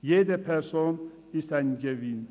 Jede Person ist ein Gewinn.